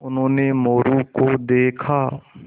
उन्होंने मोरू को देखा